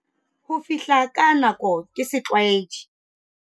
"Ho fihla ka nako ke setlwaedi."